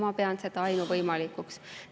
Ma pean seda ainuvõimalikuks.